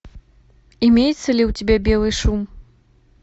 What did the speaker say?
имеется ли у тебя белый шум